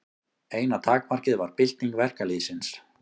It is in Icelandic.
Eina takmarkið var bylting verkalýðsins.